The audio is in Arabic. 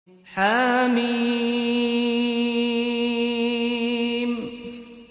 حم